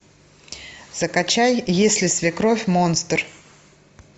закачай если свекровь монстр